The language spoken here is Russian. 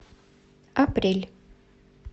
апрель